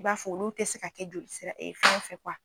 I b'a fɔ olu tɛ se ka kɛ jolisira fɛngɛ fɛ